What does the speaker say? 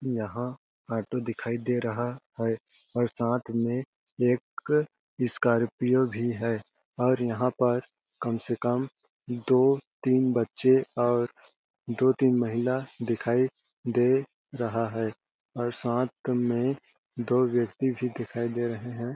यहाँ ऑटो दिखाई दे रहा है। और साथ में एक स्कॉर्पियो भी है और यहाँ पर कम से कम दो-तीन बच्चे और दो-तीन महिला दिखाई दे रहा है और साथ में दो व्यक्ति भी दिखाई दे रहें है।